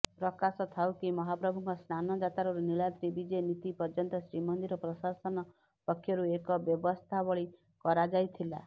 ପ୍ରକାଶଥାଉକି ମହାପ୍ରଭୁଙ୍କ ସ୍ନାନଯାତ୍ରାରୁ ନିଳାଦ୍ରୀ ବିଜେ ନୀତି ପର୍ଯ୍ୟନ୍ତ ଶ୍ରୀମନ୍ଦିର ପ୍ରଶାସନ ପକ୍ଷରୁ ଏକ ବ୍ୟବସ୍ଥାବଳୀ କରାଯାଇଥିଲା